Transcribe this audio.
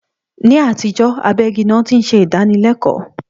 Ní àtijọ́, abẹ́ igi ni wón ti ń ṣe ìdánilẹkọ́